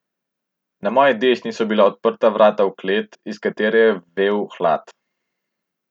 Na moji desni so bila odprta vrata v klet, iz katere je vel hlad.